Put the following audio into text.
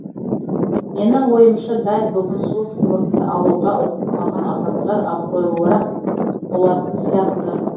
менің ойымша дәл бүгін сол сыйлықты алуға ұмтылмаған адамдар абыройлырақ болатын сияқты